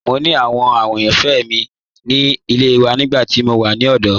Mo ni àwò àyànfẹ́ mi ni ilẹ̀ wà nígbà tí mo wà ni ọdọ.